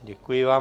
Děkuji vám.